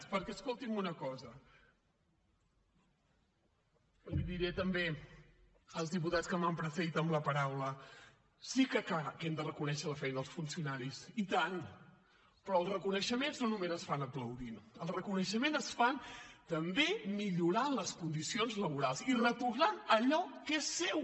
perquè escoltin una cosa els diré també als diputats que m’han precedit en la paraula sí que hem de reconèixer la feina dels funcionaris i tant però els reconeixements no només es fan aplaudint els reconeixements es fan també millorant les condicions laborals i retornant allò que és seu